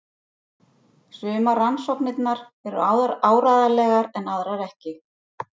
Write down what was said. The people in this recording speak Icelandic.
Sumar rannsóknirnar eru áreiðanlegar en aðrar ekki.